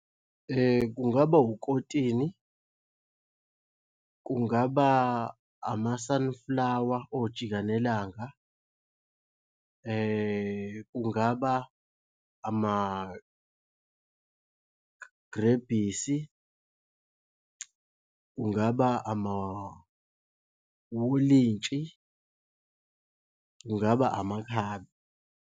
Kungaba ukotini, kungaba ama-sunflower ojikanelanga. Kungaba amagrebhisi, kungaba amawolintshi, kungaba amakhabe.